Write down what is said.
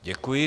Děkuji.